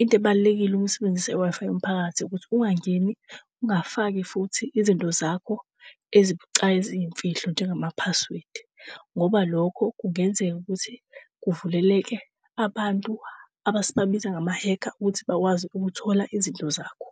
Into ebalulekile ukusebenzise i-Wi-Fi yomphakathi ukuthi ungangeni, ungafaki futhi izinto zakho ezibucayi eziyimfihlo njengama-password. Ngoba lokho kungenzeka ukuthi kuvuleleke abantu abasibabiza ngama-hacker ukuthi bakwazi ukuthola izinto zakho.